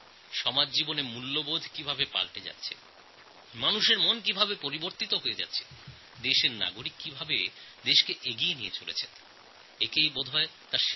সমাজ জীবনে মূল্যবোধ কীভাবে বদলে যাচ্ছে জনসাধারণের মানসিক চাহিদা কীভাবে বদলে যাচ্ছে দেশের নাগরিকবৃন্দ দেশকে কীভাবে এগিয়ে নিয়ে যাচ্ছেন তার প্রকৃষ্ট উদাহরণ এটি যা আমার সামনে এসেছে